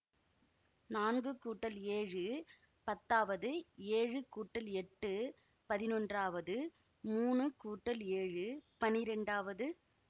நான்கு கூட்டல் ஏழு பத்தாவது ஏழு கூட்டல் எட்டு பதினொன்றாவது மூனு கூட்டல் ஏழு பன்னிரெண்டாவது